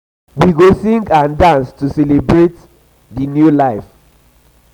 we go sing and dance to celebrate dance to celebrate di new life make merry rejoice.